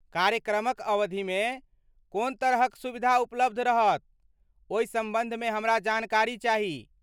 कार्यक्रमक अवधि में कोन तरह क सुविधा उपलब्ध रहतओहि सम्बन्ध मे हमरा जानकारी चाही।